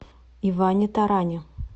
иване таране